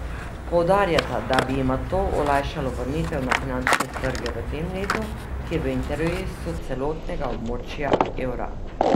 Poudarjata, da bi jima to olajšalo vrnitev na finančne trge v tem letu, ki je v interesu celotnega območja evra.